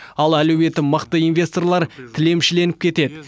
ал әлеуеті мықты инвесторлар тілемшіленіп кетеді